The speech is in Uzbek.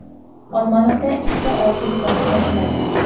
Olmaliqda ikkita oltin koni ochiladi .